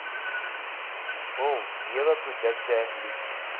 hul neweprodukte liefs